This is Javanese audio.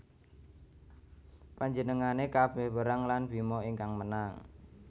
Panjenengane kabeh perang lan Bima ingkang menang